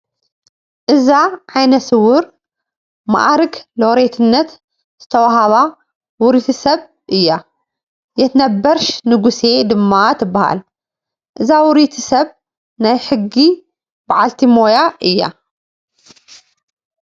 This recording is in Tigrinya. እዛ ዓይነስዉር ማዕርግ ሎሬትነት ዝተዋህባ ውርይቲ ሰብ እያ፡፡ የትነበርሽ ንጉሴ ድማ ትበሃል፡፡ እዛ ውርይቲ ሰብ ናይ ሕጊ በዓልቲ ሞያ እያ፡፡